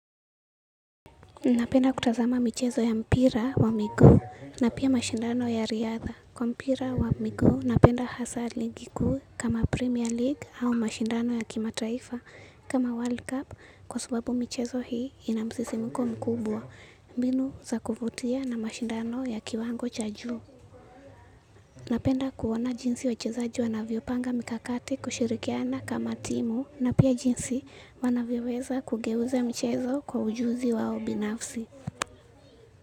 Napenda kutazama michezo ya mpira wa miguu na pia mashindano ya riadha. Kwa mpira wa miguu napenda hasa ligi kuu kama Premier League au mashindano ya kimataifa kama World Cup kwa sababu michezo hii ina msisimko mkubwa. Mbinu za kuvutia na mashindano ya kiwango cha juu. Napenda kuona jinsi wachezaji wanavyo panga mikakati kushirikiana kama timu na pia jinsi wanavyo weza kugeuza michezo kwa ujuzi wao binafsi.